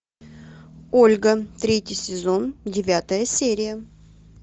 ольга третий сезон девятая серия